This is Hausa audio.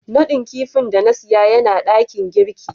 nadin kidin da na siya Yana dakin girki.